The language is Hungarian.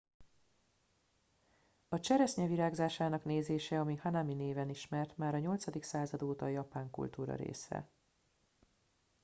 a cseresznye virágzásának nézése ami hanami néven ismert már a 8. század óta a japán kultúra része